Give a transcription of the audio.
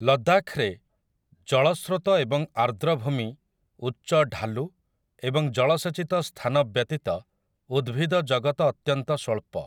ଲଦ୍ଦାଖରେ ଜଳସ୍ରୋତ ଏବଂ ଆର୍ଦ୍ରଭୂମି, ଉଚ୍ଚ ଢାଲୁ ଏବଂ ଜଳସେଚିତ ସ୍ଥାନ ବ୍ୟତୀତ ଉଦ୍ଭିଦଜଗତ ଅତ୍ୟନ୍ତ ସ୍ୱଳ୍ପ ।